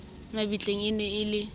mabitleng e ne e le